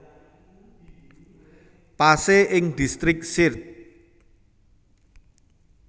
Pasé ing Distrik Sirte